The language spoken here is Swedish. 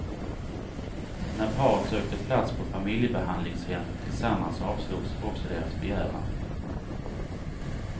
När paret sökte plats på familjebehandlingshem tillsammans avslogs också deras begäran.